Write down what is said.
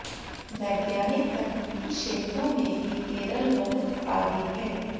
वैज्ञानिक तकनीकी क्षेत्रों में भी केरल बहुत आगे है